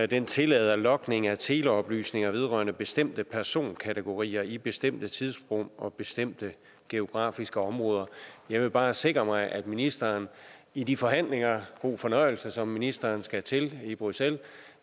den tillader logning af teleoplysninger vedrørende bestemte personkategorier i bestemte tidsrum og bestemte geografiske områder jeg vil bare sikre mig at ministeren i de forhandlinger god fornøjelse som ministeren skal til i bruxelles